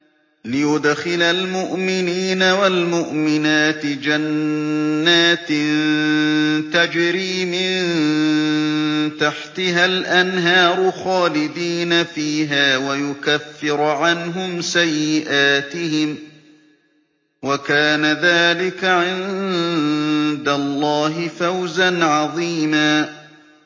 لِّيُدْخِلَ الْمُؤْمِنِينَ وَالْمُؤْمِنَاتِ جَنَّاتٍ تَجْرِي مِن تَحْتِهَا الْأَنْهَارُ خَالِدِينَ فِيهَا وَيُكَفِّرَ عَنْهُمْ سَيِّئَاتِهِمْ ۚ وَكَانَ ذَٰلِكَ عِندَ اللَّهِ فَوْزًا عَظِيمًا